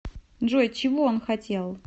джой чего он хотел